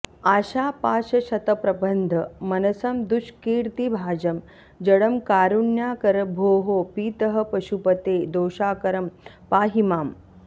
आशापाशशतप्रबन्धमनसं दुष्कीर्तिभाजं जडं कारुण्याकर भोः पितः पशुपते दोषाकरं पाहि माम्